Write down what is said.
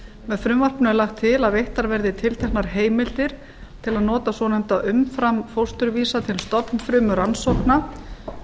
með frumvarpinu er lagt til að veittar verði tilteknar heimildir til að nota svonefnda umframfósturvísa til stofnfrumurannsókna og